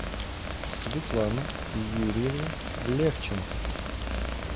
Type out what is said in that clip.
светлана юрьевна левченко